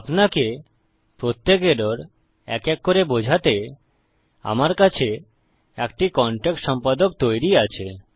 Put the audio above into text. আপনাকে প্রত্যেক এরর এক এক করে বোঝাতে আমার কাছে একটি কনটেক্সট সম্পাদক তৈরী আছে